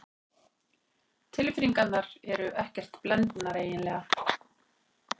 Tilfinningarnar eru ekkert blendnar eiginlega.